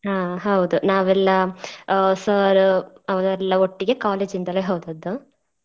ಹಾ ಹೌದು ನಾವೆಲ್ಲ ಆ sir ಅವರೆಲ್ಲ ಒಟ್ಟಿಗೆ college ಇಂದಲೇ ಹೋದದ್ದು.